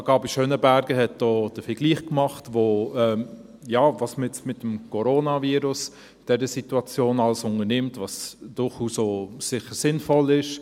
Sarah Gabi Schönenberger hat hier den Vergleich gemacht, was man jetzt mit dem Coronavirus in dieser Situation alles unternimmt, was durchaus auch sicher sinnvoll ist.